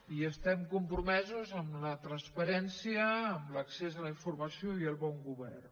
i estem compromesos amb la transparència amb l’accés a la informació i el bon govern